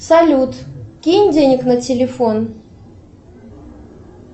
салют кинь денег на телефон